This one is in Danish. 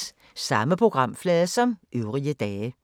Samme programflade som øvrige dage